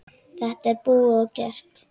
Þetta er búið og gert.